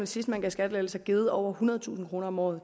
sidst man gav skattelettelser givet over ethundredetusind kroner om året